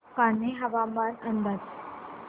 कान्हे हवामान अंदाज